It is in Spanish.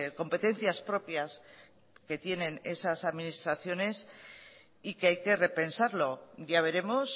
competencias propias que tienen esas administraciones y que hay que repensarlo ya veremos